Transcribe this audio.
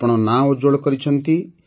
ଆପଣ ନାଁ ଉଜ୍ଜ୍ୱଳ କରିଛନ୍ତି